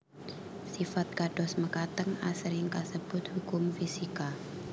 Sifat kados mekaten asring kasebut hukum fisika